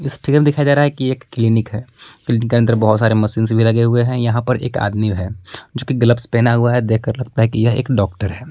इस फिगर दिखाई दे रहा है की एक क्लिनिक है क्लीनिक के अंदर बहुत सारे मशीन्स भी लगे हुए हैं यहां पर एक आदमी है जोकि ग्लव्स पेहना हुआ है देखकर लगता है की यह एक डॉक्टर है।